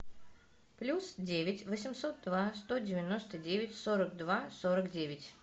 плюс девять восемьсот два сто девяносто девять сорок два сорок девять